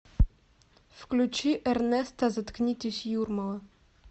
включи эрнесто заткнитесь юрмала